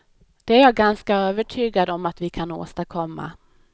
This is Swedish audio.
Det är jag ganska övertygad om att vi kan åstadkomma.